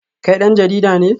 Kai dan jarida ne?